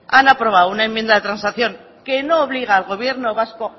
han aprobado una enmienda de transacción que no obliga al gobierno vasco